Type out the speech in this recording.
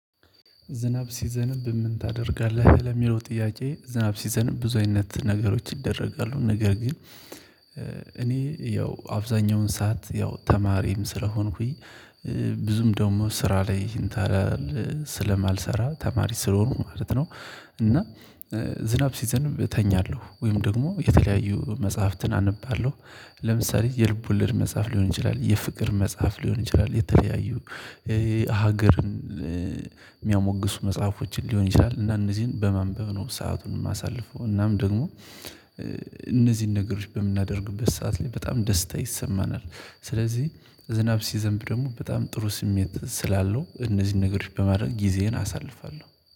ዝናብ ሲዘንብ በምን ታደርጋለህ? ለሚለው ጥያቄ ዝናብ ሲዘንብ ብዙ አይነት ነገሮች ይደረጋሉ ነገር ግን እኔ ያው አብዛኛውን ሰዓት ያው ተማሪም ስለሆንኩኝ ብዙም ደግሞ ስራ ላይ እንትን ስለማልሰራ ተማሪ ስለሆኑ ማለት ነው እና ዝናብ ሲዘንብ እተኛለሁ ወይም ደግሞ የተለያዩ መጽሐፍትን አነባለሁ፣ ለምሳሌ የልብ ወለድ መጽሐፍ ሊሆን ይችላል፣ የፍቅር መጽሐፍ ሊሆን ይችላል፣ የተለያዩ ሀገርን የሚያሞግሱ መጽሐፎችን ሊሆን ይችላል እና እነዚህን በማንበብ ነው ሰአቱን የማሳልፈው እናም ደግሞ እነዚህን ነገሮች በምናደርግበት ሰዓት ላይ በጣም ደስታ ይሰማናል ስለዚህ ዝናብ ሲዘንብ ደግሞ በጣም ጥሩ ስሜት ስላለው እነዚህን ነገሮች በማድረግ ጊዜዬን አሳልፋለሁ።